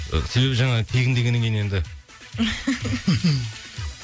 себебі жаңа тегін дегеннен кейін енді